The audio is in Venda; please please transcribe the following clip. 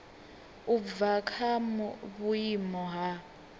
u bva kha vhuimo ha